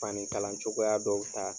Fani kalan cogoya dɔw ta.